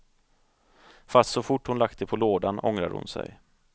Fast så fort hon lagt det på lådan ångrade hon sig.